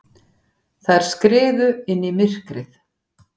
Þær skriðu inn í myrkrið.